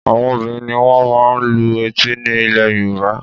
Àwọn obìnrin ni wọ́n máa ń lu etí ní ilẹ̀ Yorùbá